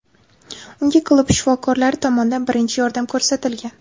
Unga klub shifokorlari tomonidan birinchi yordam ko‘rsatilgan.